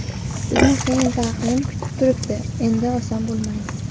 Bizni qiyin taqvim kutib turibdi, endi oson bo‘lmaydi.